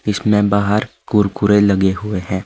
इसमें बाहर कुरकुरे लगे हुए हैं।